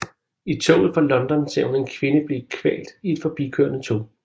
I toget fra London ser hun en kvinde blive kvalt i et forbikørende tog